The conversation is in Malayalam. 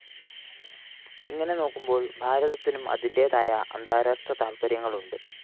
ഇങ്ങനെ നോക്കുമ്പോള്‍ ഭാരതത്തിനും അതിന്റേതായ അന്താരാഷ്ട്ര താല്‍പര്യങ്ങളുണ്ട്